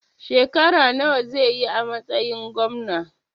Shekara nawa zai yi a matsayin Gwamna?